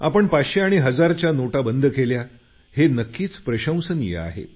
आपण पाचशे आणि हजारच्या नोटा बंद केल्या हे नक्कीच प्रशंसनीय आहे